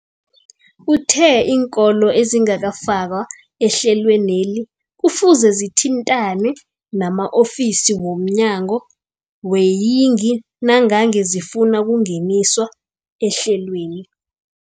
Uthe iinkolo ezingakafakwa ehlelweneli kufuze zithintane nama-ofisi wo mnyango weeyingi nangange zifuna ukungeniswa ehlelweni.